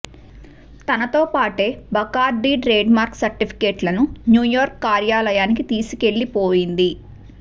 తనతో పాటే Bacardi trademark certificate లను న్యూయార్క్ కార్యాలయానికి తీసుకెళ్లిపోయింది